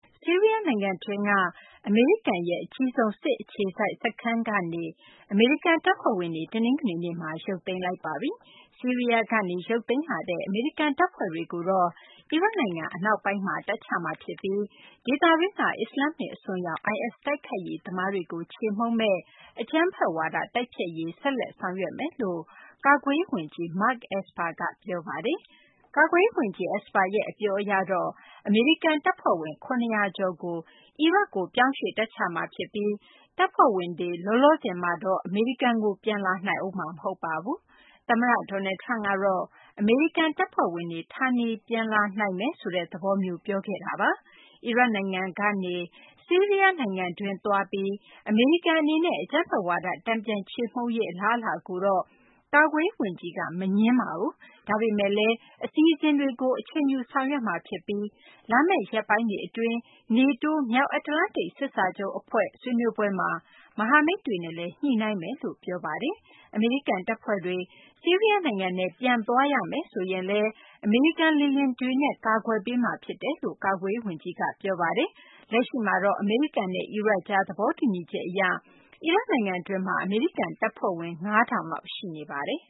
ဆီးရီးယားနိုင်ငံတွင်းက အမေရိကန်ရဲ့ အကြီးဆုံး အခြေစိုက်စစ်စခန်းက အမေရိကန် တပ်ဖွဲ့တွေ တနင်္ဂနွေနေ့မှာ ရုပ်သိမ်းလိုက်ပါပြီ။ ဆီးရီးယားကနေ ရုပ်သိမ်းလာတဲ့ အမေရိကန်တပ်ဖွဲ့တွေကို အီရတ်နိုင်ငံ အနောက်ပိုင်းမှာ တပ်ချမှာဖြစ်ပြီး ဒေသတွင်းက အစ္စလာမ္မစ် အစွန်းရောက် IS တိုက်ခိုက်ရေးသမားတွေကို ချေမှုန်းမယ့် အကြမ်းဖက်ဝါဒ တိုက်ဖျက်ရေးကို ဆက်လက် ဆောင်ရွက်သွားမယ်လို့ ကာကွယ်ရေးဝန်ကြီး Mark Esper က ပြောပါတယ်။ ကာကွယ်ရေးဝန်ကြီး Esper ရဲ့ အပြောအရတော့ အမေရိကန်တပ်ဖွဲ့ဝင် ၇၀၀ ကျော်ကို အီရတ်ကို ရွှေ့ပြောင်းတပ်ချမှာဖြစ်ပြီး တပ်ဖွဲ့ဝင်တွေ လောလောဆယ်မှာတော့ အမေရိကန်ကို ပြန်လာနိုင်ဦးမှာ မဟုတ်ပါဘူး။ သမ္မတ Donald Trump ကတော့ အမေရိကန်တပ်ဖွဲ့ဝင်တွေ ဌာနေပြန်လာနိုင်မယ်ဆိုတဲ့ သဘောမျိုး ပြောထားတာပါ။ အီရတ်နိုင်ငံကနေ ဆီးရီးယားနိုင်ငံတွင်း သွားပြီး အမေရိကန်အနေနဲ့ အကြမ်းဖက်ဝါဒ တန်ပြန်ချေမှုန်းရေး အလားအလာကိုတော့ ကာကွယ်ရေးဝန်ကြီးက မငြင်းပါဘူး။ ဒါပေမယ့်လည်း အစီအစဉ်တွေကို အချိန်ယူ ဆောင်ရွက်မှာဖြစ်ပြီး လာမယ့် ရက်ပိုင်းတွေအတွင်း NATO မြောက်အတ္တလန္တိတ် စစ်စာချုပ်အဖွဲ့ ဆွေးနွေးပွဲမှာ မဟာမိတ်တွေနဲ့လည်း ညှိနှိုင်းမယ်လို့ ပြောပါတယ်။ အမေရိကန်တပ်ဖွဲ့တွေ ဆီးရီးယားနိုင်ငံထဲ ပြန်သွားရမယ်ဆိုရင်လည်း အမေရိကန် လေယာဉ်တွေနဲ့ ကာကွယ်ပေးမှာ ဖြစ်တယ်လို့လည်း ကာကွယ်ရေးဝန်ကြီးက ပြောပါတယ်။ လက်ရှိမှာတော့ အမေရိကန်နဲ့ အီရတ်ကြား သဘောတူညီချက်အရ အီရတ်နိုင်ငံတွင်းမှာ အမေရိကန်တပ်ဖွဲ့ဝင် ၅၀၀၀ လောက် ရှိနေပါတယ်